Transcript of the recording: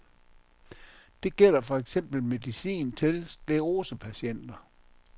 Det gælder for eksempel medicin til sklerosepatienter.